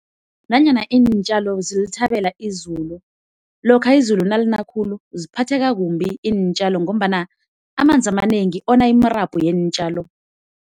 Nanyana iintjalo zilithabela izulu, lokha izulu nalina khulu ziphatheka kumbi iintjalo ngombana amanzi amanengi ona imirabhu yeentjalo.